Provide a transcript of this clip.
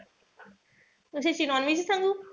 कशाची non-veg ची सांगू?